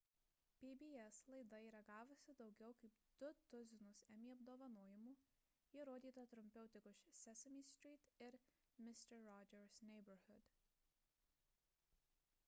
pbs laida yra gavusi daugiau kaip du tuzinus emmy apdovanojimų ji rodyta trumpiau tik už sesame street ir mister rogers' neighborhood